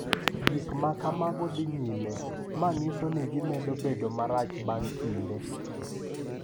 Gik ma kamago dhi nyime, ma nyiso ni gimedo bedo marach bang’ kinde.